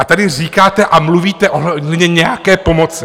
A tady říkáte a mluvíte ohledně nějaké pomoci.